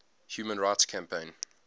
human rights campaign